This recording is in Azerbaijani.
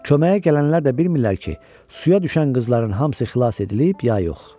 Köməyə gələnlər də bilmirlər ki, suya düşən qızların hamısı xilas edilib, ya yox.